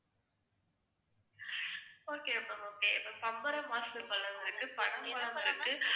okay ma'am okay இப்ப பம்பரமாசு பழம் இருக்கு, பனம்பழம் இருக்கு